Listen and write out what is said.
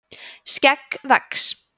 skegg vex